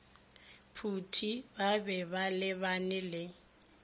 phuti ba be balebane le